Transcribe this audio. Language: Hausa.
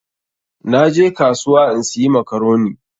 Na je kasuwa in siya makaroni.